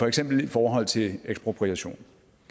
eksempel i forhold til ekspropriation